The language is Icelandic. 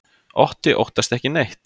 Otti óttast ekki neitt!